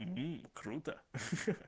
м круто ха